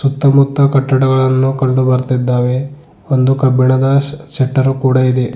ಸುತ್ತಮುತ್ತ ಕಟ್ಟಡಗಳನ್ನು ಕಂಡು ಬರ್ತಿದ್ದಾವೆ ಒಂದು ಕಬ್ಬಿಣದ ಶ ಶೆಟ್ಟರ್ ಕೂಡ ಇದೆ.